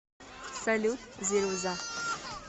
салют зируза